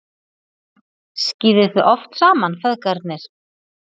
Skíðið þið oft saman, feðgarnir?